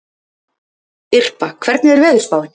Irpa, hvernig er veðurspáin?